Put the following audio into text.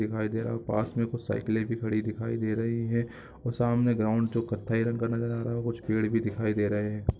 दिखाई दे रहा पास में कुछ साइकिले भी खड़ी दिखाई दे रही है और सामने ग्राउंड जो कत्थई रंग का नज़र आ रहा कुछ पेड़ भी दिखाई दे रहे है।